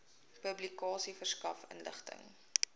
publikasie verskaf inligting